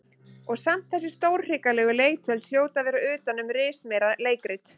Og samt þessi stórhrikalegu leiktjöld hljóta að vera utan um rismeira leikrit.